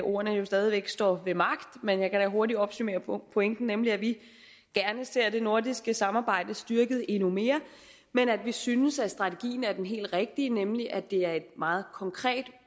ordene jo stadig væk står ved magt men jeg kan da hurtigt opsummere pointen nemlig at vi gerne ser det nordiske samarbejde styrket endnu mere men at vi synes at strategien er den helt rigtige nemlig at det er et meget konkret